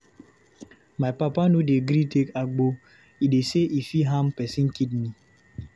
My papa no dey gree take agbo, e dey sey e fit harm pesin kidney.